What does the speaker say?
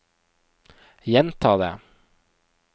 gjenta det